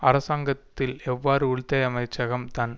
அரசாங்கத்தில் எவ்வாறு உள்துறை அமைச்சகம் தன்